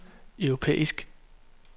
europæisk